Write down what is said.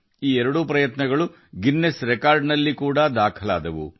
ಈ ಎರಡೂ ಪ್ರಯತ್ನಗಳು ಗಿನ್ನೆಸ್ ದಾಖಲೆಗಳಲ್ಲಿ ದಾಖಲಾಗಿವೆ